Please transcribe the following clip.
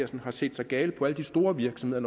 dem har set sig gale på alle de store virksomheder